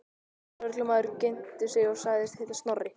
Lögreglumaðurinn kynnti sig og sagðist heita Snorri.